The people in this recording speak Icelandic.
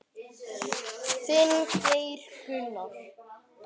Þinn, Geir Gunnar.